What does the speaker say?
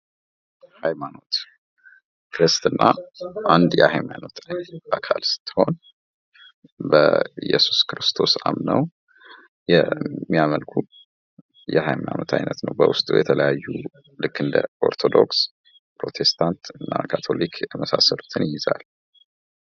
3. ባህላዊ በዓላትና ሥርዓቶች የጥበብና የባህል አገላለጽ መድረኮች በመሆን የማህበረሰብን ትስስር ያጠናክራሉ